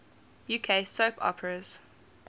uk soap operas